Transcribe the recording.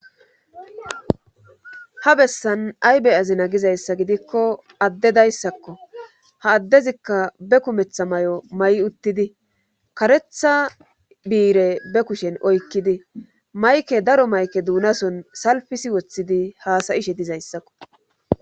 ha bessan ay beyazina gizayssa gidikko addedayssakko ha addezikka be kumetha may7o may uttidi karetha biire be kushen oykkidi mayke daro mayke duunason salfisi woththidi haasayishe dizayssakko